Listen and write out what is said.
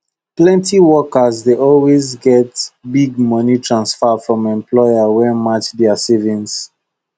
plenty workers dey always get big money transfer from employer wey match their savings